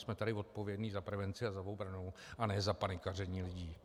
Jsme tady odpovědní za prevenci a za obranu, a ne za panikaření lidí.